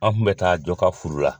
An kun bɛ taa jɔ ka furu la.